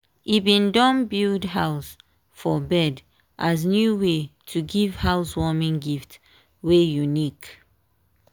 e bin don build house for bird as new way to give housewarming gift wey unique.